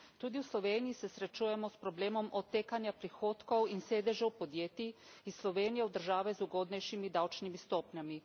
Tudi v Sloveniji se srečujemo s problemom odtekanja prihodkov in sedežev podjetij iz Slovenije v države z ugodnejšimi davčnimi stopnjami.